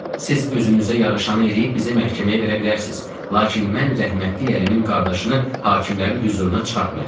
Siz özünüzə yaraşanı eləyib bizi məhkəməyə verə bilərsiz, lakin mən rəhmətli ərimin qardaşını hakimlərin hüzuruna çıxartmayacam.